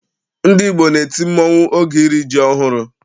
Ndị Igbo na-eti mmọnwụ oge iri ji ọhụrụ